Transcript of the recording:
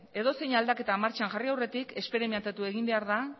edozein aldaketa martxan jarri aurretik esperimentatu egin behar da